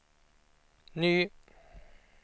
ny